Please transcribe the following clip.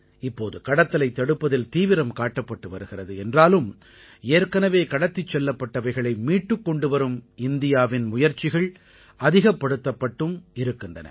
இப்போது கடத்தலைத் தடுப்பதில் தீவிரம் காட்டப்பட்டு வருகிறது என்றாலும் ஏற்கெனவே கடத்திச் செல்லப்பட்டவைகளை மீட்டுக் கொண்டு வரும் இந்தியாவின் முயற்சிகள் அதிகப்படுத்தப்பட்டும் இருக்கின்றன